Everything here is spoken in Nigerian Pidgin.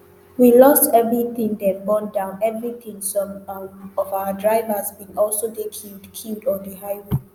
we lost evritin dem burn down evritin some um of our drivers bin also dey killed killed on di highway